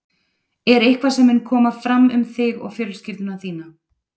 Er eitthvað sem mun koma fram um þig og fjölskyldu þína?